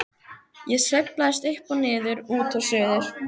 Ég sveiflast upp og niður, út og suður.